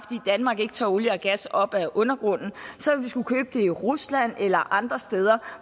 danmark ikke tager olie og gas op af undergrunden så vil vi skulle købe det i rusland eller andre steder